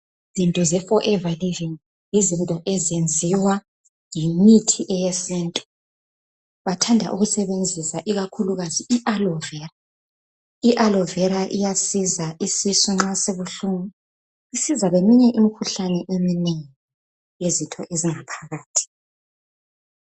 izinto ze forever living yizinto ezenziwa yimithi eyesintu bathanda ukusebenzisa ikakhulukazi i aloe vera i aloe vera iyasiza isisu nxa sibuhlungu isiza leminye imikhuhlane eminengi yezitho ezingaphakathi